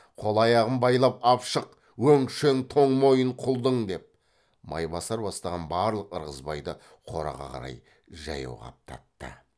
қол аяғын байлап ап шық өңшең тоң мойын құлдың деп майбасар бастаған барлық ырғызбайды қораға қарай жаяу қаптатты